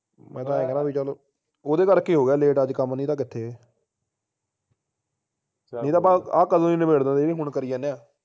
ਮੈਂ ਤਾ ਆਏਂ ਕਹਿਣਾ ਆ ਬਈ ਚੱਲ ਓਹਦੇ ਕਰਕੇ ਹੋ ਗਿਆ late ਅੱਜ ਕੰਮ ਨਹੀਂ ਤਾ ਕਿਥੇ ਨਹੀਂ ਤਾਂ ਆਪਾ ਆਹ ਕਦੋ ਵੀ ਨਬੇੜ ਦਿੰਦੇ ਜਿਹੜੀ ਹੁਣ ਕਰੀ ਜਾਣੇ ਆ